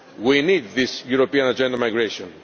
citizens. We need this European Agenda on Migration.